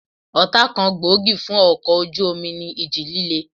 Ọ̀tá kan gbòógì fún ọkọ̀ ojú omi ní ìjì líle